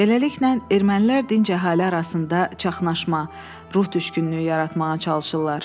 Beləliklə, ermənilər dinc əhali arasında çaşnaşma, ruh düşkünlüyü yaratmağa çalışırlar.